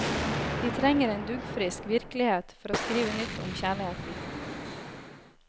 Vi trenger en duggfrisk virkelighet for å skrive nytt om kjærligheten.